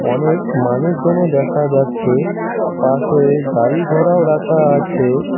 অনেক মানুষজনও দেখা যাচ্ছে পাশে গাড়ি-ঘরাও রাখা আছে।